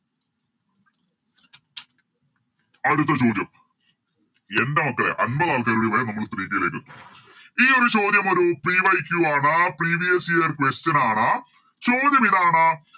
അടുത്ത ചോദ്യം എൻറെ മക്കളെ അൻപതാൾക്കാരുടയാൽ നമ്മൾ Three k ലെത്തും ഈയൊരു ചോദ്യമൊരു PYQ ആണ് Previous year question ആണ് ചോദ്യം ഇതാണ്